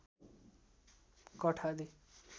कठ आदि